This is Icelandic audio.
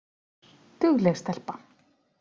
Dugleg stelpa